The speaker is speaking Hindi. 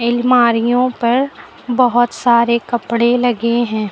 अलमारियों पर बहोत सारे कपड़े लगे हैं।